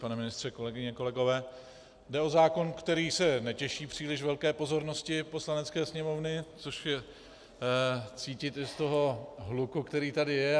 Pane ministře, kolegyně, kolegové, jde o zákon, který se netěší příliš velké pozornosti Poslanecké sněmovny, což je cítit i z toho hluku, který tady je.